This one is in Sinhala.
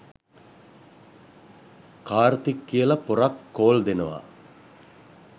කාර්තික් කියල පොරක් කෝල් දෙනවා